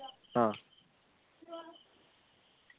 ആഹ്